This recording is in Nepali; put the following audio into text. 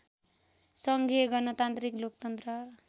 सङ्घीय गणतान्त्रिक लोकतन्त्र